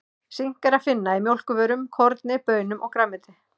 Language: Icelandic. Sink er að finna í mjólkurvörum, korni, baunum og grænmeti.